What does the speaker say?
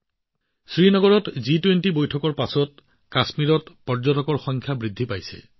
শ্ৰীনগৰত জি২০ৰ বৈঠকৰ পাছত কাশ্মীৰত পৰ্যটকৰ সংখ্যা ব্যাপকভাৱে বৃদ্ধি পাইছে